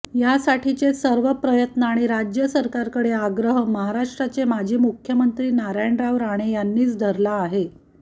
यासाठीचे सर्व प्रयत्न आणि राज्य सरकारकडे आग्रह महाराष्ट्राचे माजी मुख्यमंत्री नारायणराव राणे यांनीच धरला आहे